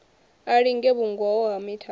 a linge vhungoho ha mithara